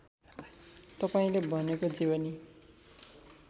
तपाईँले भनेको जीवनी